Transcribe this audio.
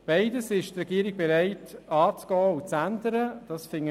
Beides ist die Regierung bereit anzugehen und zu ändern.